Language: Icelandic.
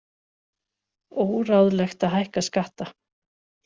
Óráðlegt að hækka skatta